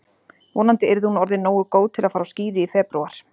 Vonandi yrði hún orðin nógu góð til að fara á skíði í febrúar.